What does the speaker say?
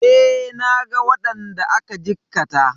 E, naga waɗanda aka jikkata.